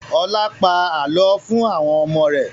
Ọlá pa àálọ́ fún àwọn ọmọ rẹ̀